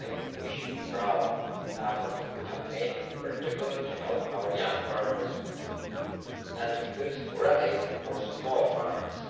We should be proud of the efforts we have made, in particular to help our young farmers and to cut red tape for small farmers.